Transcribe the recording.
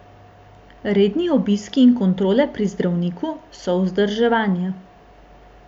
Redni obiski in kontrole pri zdravniku so vzdrževanje.